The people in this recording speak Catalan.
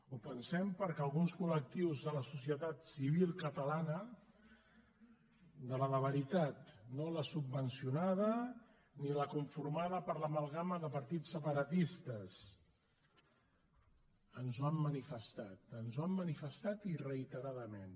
ho pensem perquè alguns collectius de la societat civil catalana de la de veritat no la subvencionada ni la conformada per l’amalgama de partits separatistes ens ho han manifestat ens ho han manifestat i reiteradament